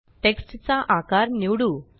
text चा आकार निवडू